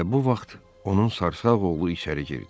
Elə bu vaxt onun sarsağ oğlu içəri girdi.